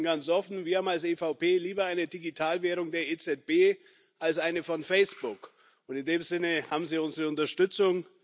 Ich sage Ihnen ganz offen Wir als EVP haben lieber eine Digitalwährung der EZB als eine von Facebook, und in dem Sinne haben Sie unsere Unterstützung.